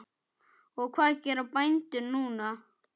Og hvað gera bændur núna?